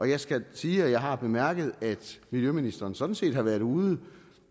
jeg skal sige at jeg har bemærket at miljøministeren sådan set har været ude